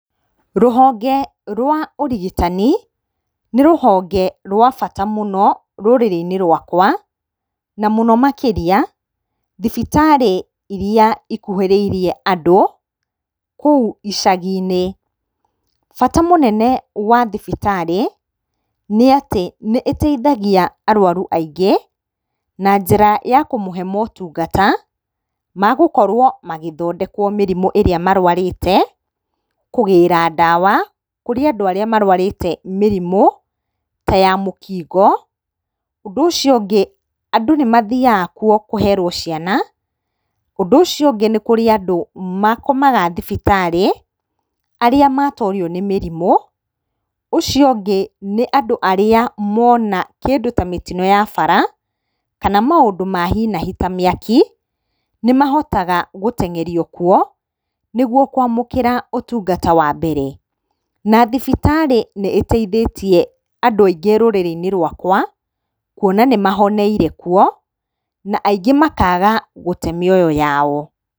Rũhonge rwa ũrigitani, nĩ rũhonge rwa bata mũno rũrĩrĩ-inĩ rwakwa. Na mũno makĩria thibitarĩ iria ikuhĩrĩire andũ, kũu icagi-inĩ. Bata mũnene wa thibitarĩ, nĩ atĩ nĩ citeithagia arũaru aingĩ na njĩra ya kũmahe motungata ma gũkorwo magĩthondekwo mĩrimũ ĩrĩa marũarĩte, kũgĩra ndawa, kũrĩ andũ arĩa marũarĩte mĩrimũ ta ya mũkingo. Ũndũ ũcio ũngĩ, andũ nĩ mathiaga kuo kũherwo ciana, ũndũ ũcio ũngĩ nĩ kũrĩ andũ makomaga thibitarĩ, arĩa matorio nĩ mĩrimũ. ũcio ũngĩ nĩ andũ arĩa mona kĩndũ ta mĩtino ya bara kana maũndũ ma hi na hi ta mĩaki, nĩ mahotaga gũteng'erio kuo, nĩ guo kũamũkĩra ũtungata wa mbere. Na thibitarĩ nĩ ĩteithĩtia andũ aingĩ rũrĩrĩ-inĩ rwakwa kũona nĩ mahoneire kuo na aingĩ makaga gũte mĩoyo yao.